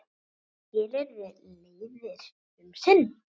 Nú skilur leiðir um sinn.